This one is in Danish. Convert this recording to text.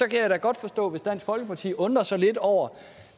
kan da godt forstå hvis dansk folkeparti undrer sig lidt over